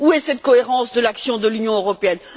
Où est cette cohérence de l'action de l'Union européenne?